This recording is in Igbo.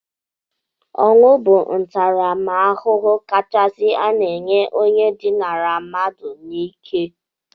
Ọnwụ bụ ntaramahụhụ kachasi a na-enye onye dinara mmadụ n'ike